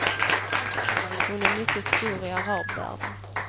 Hon är mycket stor i arabvärlden.